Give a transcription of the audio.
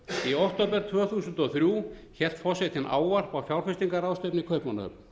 í október tvö þúsund og þrjú hélt forsetinn ávarp á fjárfestingarráðstefnu í kaupmannahöfn